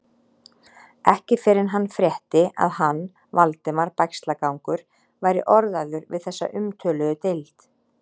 Ekki fyrr en hann frétti, að hann, Valdimar Bægslagangur, væri orðaður við þessa umtöluðu deild.